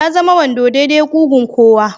Ya zama wando dai-dai ƙugun kowa